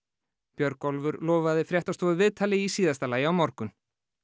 Björgólfur lofaði fréttastofu viðtali í síðasta lagi á morgun